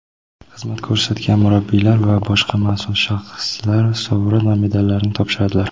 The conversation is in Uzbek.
xizmat ko‘rsatgan murabbiylar va boshqa mas’ul shaxslar sovrin va medallarni topshiradilar.